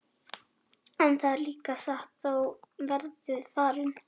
En það er líka satt, þá verðið þið farnir.